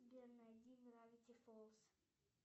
сбер найди гравити фолз